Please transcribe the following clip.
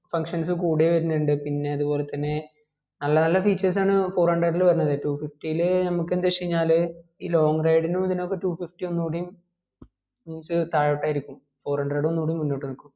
functions കൂടെ വരുനിണ്ട് പിന്നെ അതുപോലെത്തനെ നല്ല നല്ല features ആണ് four hundred ൽ വരുന്നത് two fifty ൽ നമുക്ക് എന്ത് വെച്ചാല് ഈ long ride നും ഇതിനൊക്കെയും two fifty ഒന്നൂടിയും കൊറച് താഴോട്ട് ആയിരിക്കും four hundred ഒന്നുകൂടി മുന്നൊട്ട് നിക്കും